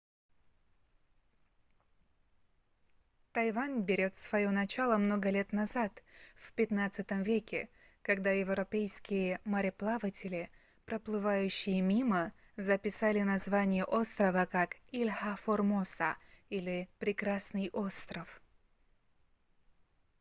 тайвань берёт своё начало много лет назад в xv веке когда европейские мореплаватели проплывающие мимо записали название острова как ilha formosa или прекрасный остров